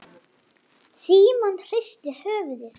THEODÓRA: Nú, hann er vaknaður.